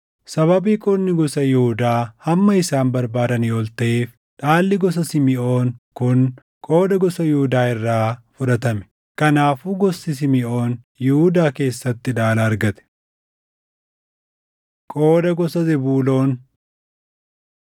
Sababii qoodni gosa Yihuudaa hamma isaan barbaadanii ol taʼeef dhaalli gosa Simiʼoon kun qooda gosa Yihuudaa irraa fudhatame. Kanaafuu gosti Simiʼoon Yihuudaa keessatti dhaala argate. Qooda Gosa Zebuuloon